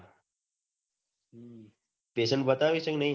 patient બતાવે છે કે ની